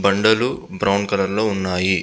బండలు brown colour లో ఉన్నాయి.